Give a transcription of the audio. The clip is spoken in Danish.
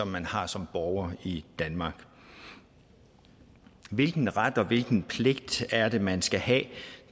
man har som borger i danmark hvilken ret og hvilken pligt er det man skal have